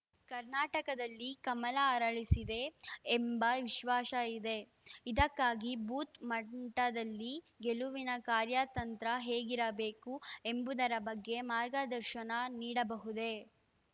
ಕರ್ನಾಟಕದಲ್ಲಿ ಕಮಲ ಅರಳಿಸಿದೆ ಎಂಬ ವಿಶ್ವಾಸ ಇದೆ ಇದಕ್ಕಾಗಿ ಬೂತ್‌ ಮಂಟದಲ್ಲಿ ಗೆಲುವಿನ ಕಾರ್ಯತಂತ್ರ ಹೇಗಿರಬೇಕು ಎಂಬುದರ ಬಗ್ಗೆ ಮಾರ್ಗದರ್ಶನ ನೀಡಬಹುದೆ